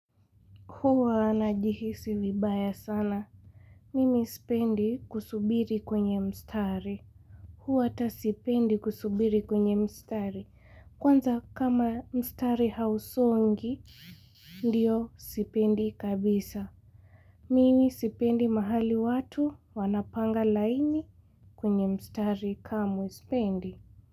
Huwa najihisi vibaya sana. Mimi ispendi kusubiri kwenye mstari. Huwa hata sipendi kusubiri kwenye mstari. Kwanza kama mstari hausongi, ndio sipendi kabisa. Mimi sipendi mahali watu wanapanga laini kwenye mstari kamwe ispendi.